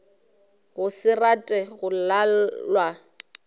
go se rate go lalwa